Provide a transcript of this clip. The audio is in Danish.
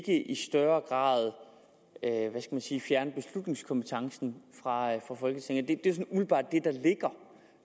større grad fjerne beslutningskompetencen fra folketinget det